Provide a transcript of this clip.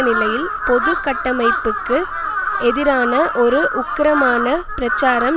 நிலையில் பொது கட்டமைப்புக்கு எதிரான ஒரு உக்கிரமான பிரச்சாரம்